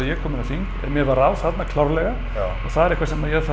ég kom inn á þing en mér varð á þarna klárlega og það er eitthvað sem ég þarf